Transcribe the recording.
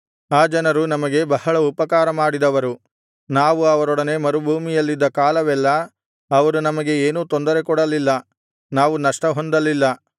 ಆ ಜನರು ನಮಗೆ ಬಹಳ ಉಪಕಾರ ಮಾಡಿದವರು ನಾವು ಅವರೊಡನೆ ಮರುಭೂಮಿಯಲ್ಲಿದ್ದ ಕಾಲವೆಲ್ಲಾ ಅವರು ನಮಗೆ ಏನೂ ತೊಂದರೆಕೊಡಲಿಲ್ಲ ನಾವು ನಷ್ಟಹೊಂದಲಿಲ್ಲ